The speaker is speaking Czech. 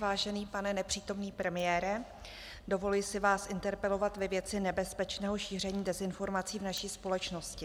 Vážený pane nepřítomný premiére, dovoluji si vás interpelovat ve věci nebezpečného šíření dezinformací v naší společnosti.